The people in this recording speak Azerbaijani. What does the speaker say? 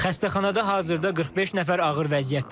Xəstəxanada hazırda 45 nəfər ağır vəziyyətdədir.